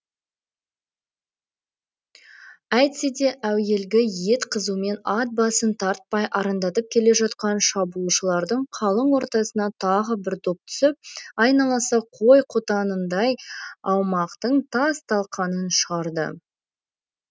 әйтсе де әуелгі ет қызумен ат басын тартпай арындап келе жатқан шабуылшылардың қалың ортасына тағы бір доп түсіп айналасы қой қотанындай аумақтың тас талқанын шығарды